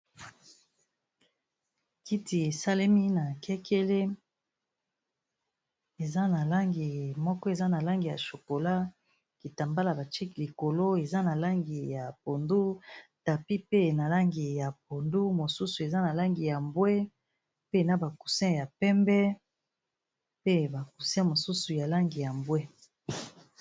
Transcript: Kiti esalemi na kekele eza na langi moko eza na langi ya chokolat, kitambala batshe likolo eza na langi ya pondu, tapi pe na langi ya pondu, mosusu eza na langi ya mbwe, pe na ba coussin ya pembe, pe ba coussin mosusu ya langi ya mbwe.